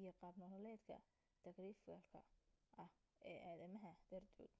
iyo qaab nololeedka tagrifalka ah ee aadamaha dartood